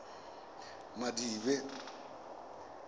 madibe